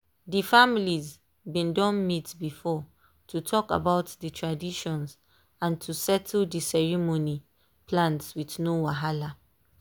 dey families been done meet before to talk about the traditions and to settle dey ceremony plans with no wahala.